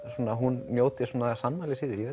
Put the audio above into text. hún njóti sannmælis í